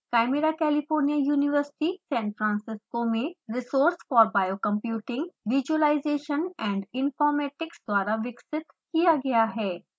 chimera California university San Francisco में resource for biocomputing visualization and informatics द्वारा विकसित किया गया है